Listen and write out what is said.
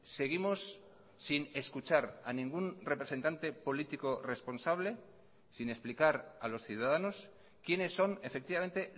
seguimos sin escuchar a ningún representante político responsable sin explicar a los ciudadanos quiénes son efectivamente